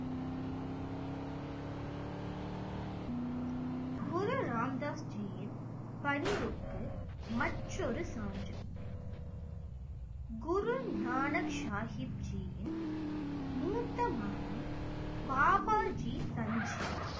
குரு ராம்தாஸ் ஜீயின் பணிவுக்கு மற்றொரு சான்று குரு ஞான சாகிப் ஜீயின் மூத்த மகள் பாபாஜி சஞ்சீவ்